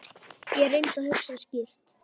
Ég reyndi að hugsa skýrt.